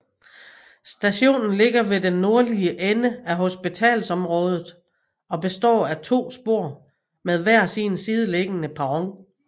Stationen ligger ved den nordlige ende af hospitalsområdet og består af to spor med hver sin sideliggende perron